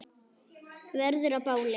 Verður að báli.